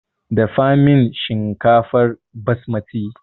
Dafa min shinkafar basmati!